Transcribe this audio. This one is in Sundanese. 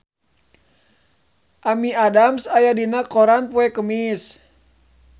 Amy Adams aya dina koran poe Kemis